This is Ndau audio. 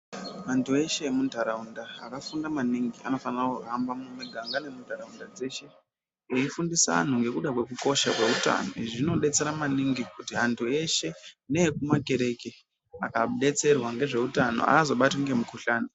Antu eshe emuntaraunda akafunda maningi anofanira kuhamba mumuganga nemunharaunda dzeshe veifundise anhu ngezveutano izvi zvinodetsera maningi antu eshe nekumatereke akadetserwa ngezveutano aazobatwi ngemukuhlana.